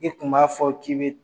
I kun b'a fɔ k'i bɛ